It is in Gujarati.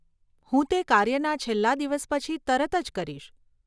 હું તે કાર્યના છેલ્લાં દિવસ પછી તરત જ કરીશ.